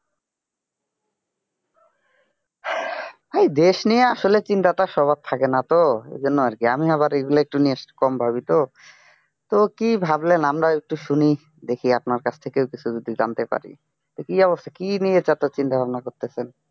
এই দেশ নিয়ে আসলে চিন্তা তো আর সবার থাকে না তো এজন্য আর কি আমি আবার এগুলো একটু নিয়ে একটু কম ভাবি তো তো কি ভাবলেন আমরা একটু শুনি দেখি আপনার কাছ থেকে কিছু যদি জানতে পারি তা কি অবস্থা কি নিয়ে এত চিন্তা-ভাবনা করছেন?